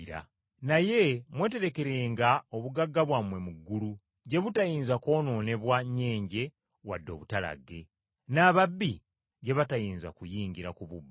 Naye mweterekerenga obugagga bwammwe mu ggulu gye butayinza kwonoonebwa nnyenje wadde obutalagge, n’ababbi gye batayinza kuyingira kububba.